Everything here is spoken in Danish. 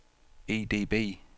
EDB